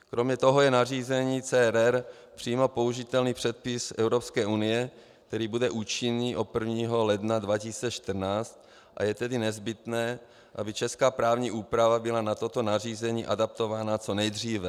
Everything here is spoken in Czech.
Kromě toho je nařízení CRR přímo použitelný předpis EU, který bude účinný od 1. ledna 2014, a je tedy nezbytné, aby česká právní úprava byla na toto nařízení adaptována co nejdříve.